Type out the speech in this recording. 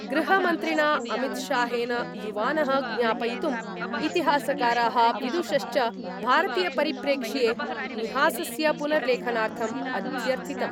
गृहमन्त्रिणा अमितशाहेन युवानः ज्ञापयितुम् तिहासकाराः विदुषश्च भारतीयपरिप्रेक्ष्ये मिहासस्य पुनर्लेखनार्थम् अध्यर्थितम्।